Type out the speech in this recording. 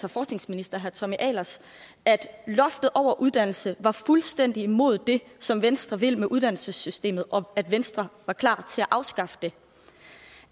og forskningsminister herre tommy ahlers at loftet over uddannelse var fuldstændig imod det som venstre vil med uddannelsessystemet og at venstre var klar til at afskaffe det